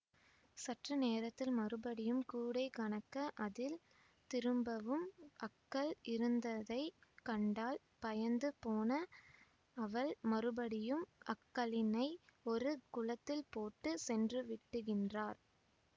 சற்று நேரத்தில் மறுபடியும் கூடை கனக்க அதில் திரும்பவும் அக்கல் இருந்ததை கண்டாள் பயந்து போன அவள் மறுபடியும் அக்கல்லினை ஒரு குளத்தில் போட்டு சென்றுவிட்டுகின்றார்